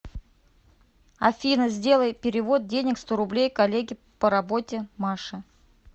афина сделай перевод денег сто рублей коллеге по работе маше